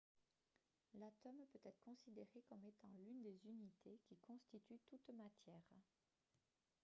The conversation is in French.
l'atome peut être considéré comme étant l'une des unités qui constitue toute matière